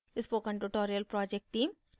spoken tutorial project team